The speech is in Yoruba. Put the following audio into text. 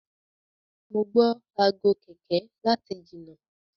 mọ gbó Aago kẹ̀kẹ́ láti jìnà.